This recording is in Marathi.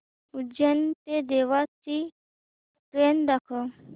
उज्जैन ते देवास ची ट्रेन दाखव